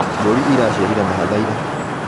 Mbũri ĩraciarire mahatha ira.